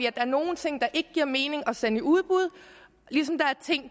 er nogle ting der ikke giver mening at sende i udbud ligesom der er ting